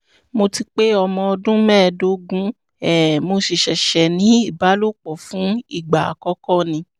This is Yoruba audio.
mo ti pé ọmọ ọdún mẹ́ẹ̀ẹ́dógún um mo sì ṣẹ̀ṣẹ̀ ní ìbálòpọ̀ fún ìgbà àkọ́kọ́ ni